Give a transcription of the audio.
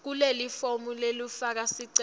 kulelifomu lekufaka sicelo